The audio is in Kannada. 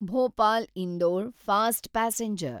Bhopal Indore fast passenger